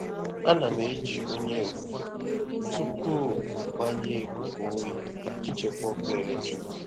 A na m eji onye ofufe tupu mgbanye ikuku oyi iji chekwaa ọkụ eletrik.